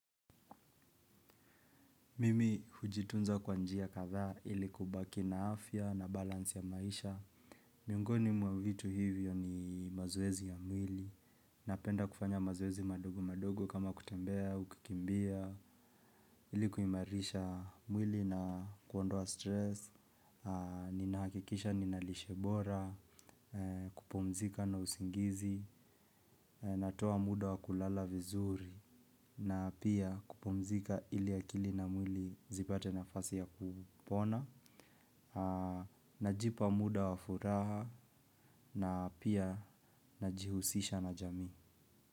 Mimi hujitunza kwanjia kadha ili kubaki na afya na balansi ya maisha. Miongoni mwa vitu hivyo ni mazoezi ya mwili. Napenda kufanya mazoezi madogo madogo kama kutembea au kukimbia. Ilikuimarisha mwili na kuondoa stress. Nina hakikisha ninalishe bora, kupumzika na usingizi, natoa muda wakulala vizuri. Na pia kupumzika ili akili na mwili zipate nafasi ya kupona. Najipa muda wa furaha na pia najihusisha na jamii.